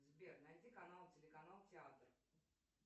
сбер найди канал телеканал театр